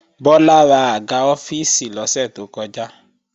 Bọ́lá rà àga ọ́fíìsì lọ́sẹ̀ tó kọjá